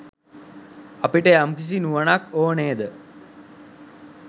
අපට යම්කිසි නුවණක් ඕන නේද?